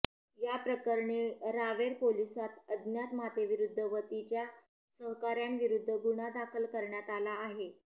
याप्रकरणी रावेर पोलिसात अज्ञात मातेविरूध्द व तिच्या सहकाऱ्याविरूध्द गुन्हा दाखल करण्यात आला आहे